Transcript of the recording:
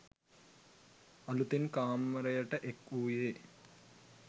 අලුතින් කාමරයට එක් වූයේ